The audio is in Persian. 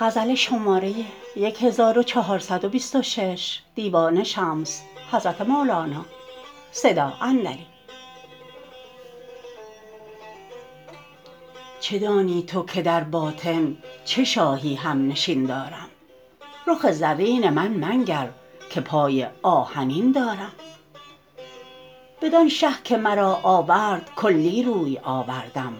چه دانی تو که در باطن چه شاهی همنشین دارم رخ زرین من منگر که پای آهنین دارم بدان شه که مرا آورد کلی روی آوردم